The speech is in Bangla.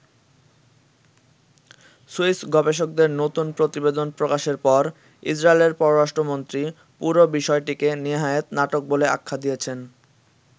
সুইস গবেষকদের নতুন প্রতিবেদন প্রকাশের পর ইসরাইলের পররাষ্ট্রমন্ত্রী পুরো বিষয়টিকে নেহায়েত নাটক বলে আখ্যা দিয়েছেন।